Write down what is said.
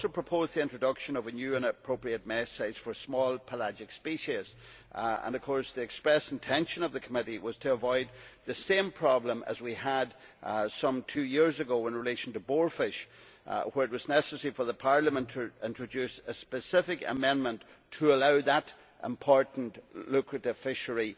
It also proposes the introduction of a new and appropriate mesh size for small pelagic species. The express intention of the Committee was to avoid the same problem we had some two years ago in relation to boarfish, where it was necessary for Parliament to introduce a specific amendment to allow that important lucrative fishery